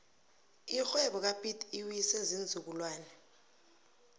irhwebo kapiet iwiswe ziinzukulwana